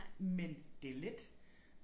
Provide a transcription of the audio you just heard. Men det let